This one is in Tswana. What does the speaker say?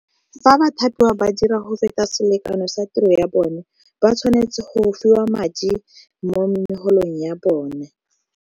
Fa bathapiwa ba dira go feta selekano sa tiro ya bone, ba tshwanetse go fiwa madi mo megolong ya bone.